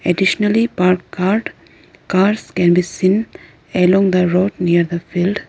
additionally parked cart cars can be seen along the road near the field.